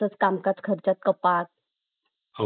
तसं कामकाज खर्चात कपात